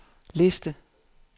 liste